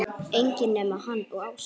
Enginn nema hann og Ása.